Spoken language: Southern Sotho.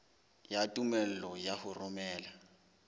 ya tumello ya ho romela